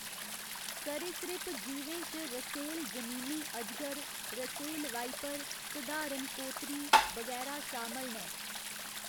सरीसृप जीवें च रसेल जमीनी अजगर, रसेल वाइपर, सधारण कोतरी, बगैरा शामल न।